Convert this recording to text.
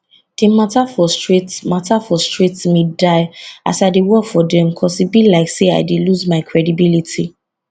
di mata frustrate mata frustrate me die as i dey work for dem cos e be like say i lose my credibility